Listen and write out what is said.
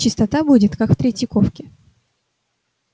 чистота будет как в третьяковке